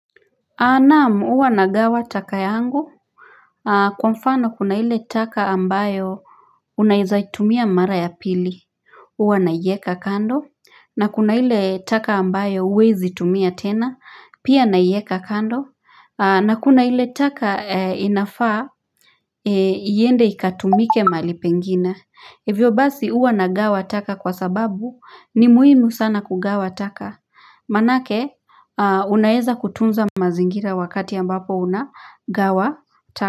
Naam huwa nagawa taka yangu kwa mfano kuna ile taka ambayo unaezaitumia mara ya pili Huwa naieka kando na kuna ile taka ambayo huwezi tumia tena pia naieka kando na kuna ile taka inafaa iende ikatumike mahali pengine Hivyo basi huwa nagawa taka kwa sababu ni muhimu sana kugawa taka Maanake unaeza kutunza mazingira wakati ambapo unagawa taka.